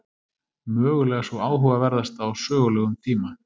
Mögulega sú áhugaverðasta á sögulegum tíma.